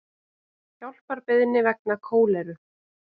Hjálparbeiðni vegna kóleru